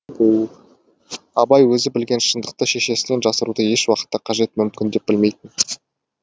абай өзі білген шындықты шешесінен жасыруды еш уақытта қажет мүмкін деп білмейтін